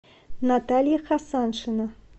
наталья хасаншина